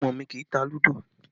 Ọmọ mi kì í tá ludo